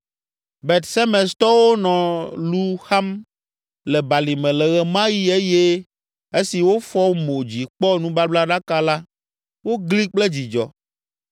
Bet Semestɔwo nɔ lu xam le balime le ɣe ma ɣi eye esi wofɔ mo dzi kpɔ nubablaɖaka la, wogli kple dzidzɔ!